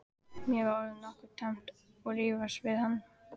Mér var orðið nokkuð tamt að rífast við hann.